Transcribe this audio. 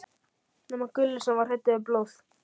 nema Gulli, sem var hræddur við blóð.